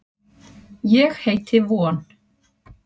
Ég heiti von.